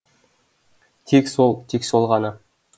тек сол тек сол ғана